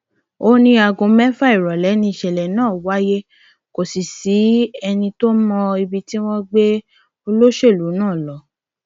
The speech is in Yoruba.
ó ní aago mẹfà ìrọlẹ nìṣẹlẹ náà wáyé kò sì sẹni tó mọ ibi tí wọn gbé olóṣèlú náà lọ